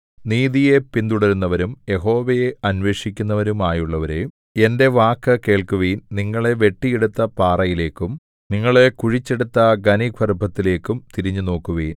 നീതിയെ പിന്തുടരുന്നവരും യഹോവയെ അന്വേഷിക്കുന്നവരും ആയുള്ളവരേ എന്റെ വാക്കു കേൾക്കുവിൻ നിങ്ങളെ വെട്ടിയെടുത്ത പാറയിലേക്കും നിങ്ങളെ കുഴിച്ചെടുത്ത ഖനിഗർഭത്തിലേക്കും തിരിഞ്ഞുനോക്കുവിൻ